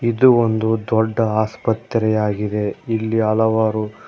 ಇದು ಒಂದು ದೊಡ್ಡ ಆಸ್ಪತ್ರೆಯಾಗಿದೆ ಇಲ್ಲಿ ಹಲವಾರು--